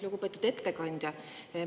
Lugupeetud ettekandja!